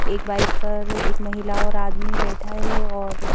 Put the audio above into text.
एक बाइक पर एक महिला और आदमी बैठा है और--